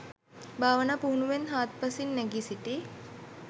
භාවනා පුහුණුවෙන් හාත්පසින් නැඟී සිටි